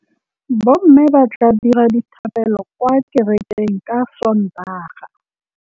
Bommê ba tla dira dithapêlô kwa kerekeng ka Sontaga.